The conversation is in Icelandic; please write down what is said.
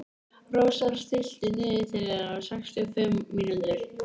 Rósar, stilltu niðurteljara á sextíu og fimm mínútur.